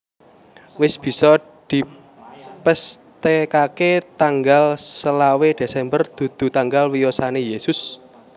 Wis bisa dipesthèkaké tanggal selawe Desember dudu tanggal wiyosané Yesus